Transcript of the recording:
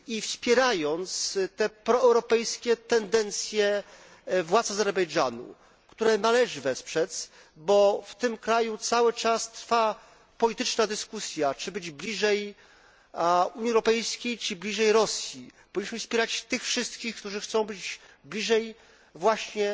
Wspierając te proeuropejskie tendencje władz Azerbejdżanu, które należy wesprzeć, bo w tym kraju cały czas trwa polityczna dyskusja, czy być bliżej Unii Europejskiej, czy bliżej Rosji, powinniśmy wspierać tych wszystkich, którzy chcą być bliżej właśnie